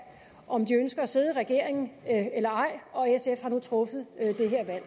om de ønsker at sidde i regeringen eller ej og sf har nu truffet det her valg